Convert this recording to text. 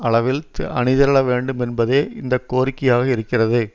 அளவில் அணிதிரள வேண்டும் என்பதே இந்த கோரிக்கையாக இருக்கிறது